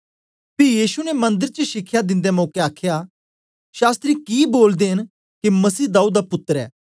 पी यीशु ने मंदर च शिखया दिंदे मौके आखया शास्त्री कि बोलदे ने के मसीह दाऊद दा पुत्तर ऐ